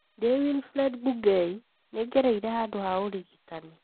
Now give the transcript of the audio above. Ndĩ Wilfred Bungei, nĩ ngereire handũ ha ũrigitani.